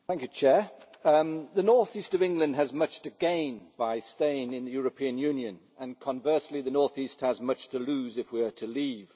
Madam President, the North East of England has much to gain by staying in the European Union and conversely the North East has much to lose if we are to leave.